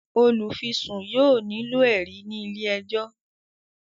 olufisun yóò nilo ẹrí ní ilé ẹjọ